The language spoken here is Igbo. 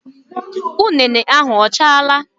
Ụnene ahụ ọ chaala?